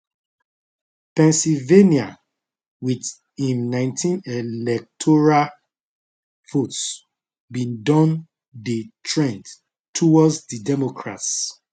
pennsylvania with im19 electoral votes bin don dey trend towards di democrats